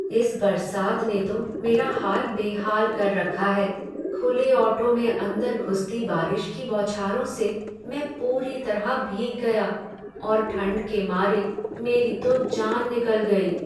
इस बरसात ने तो मेरा हाल बेहाल कर रखा है। खुले ऑटो में अंदर घुसती बारिश की बौछारों से मैं पूरी तरह भीग गया और ठंड के मारे मेरी तो जान निकल गई।